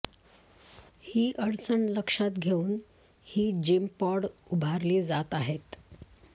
ही अडचण लक्षात घेऊन ही जिम पॉड उभारली जात आहेत